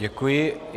Děkuji.